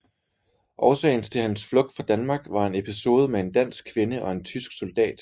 Årsagen til hans flugt fra Danmark var en episode med en dansk kvinde og en tysk soldat